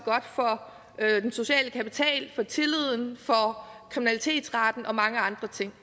er den sociale kapital for tilliden kriminalitetsraten og mange andre ting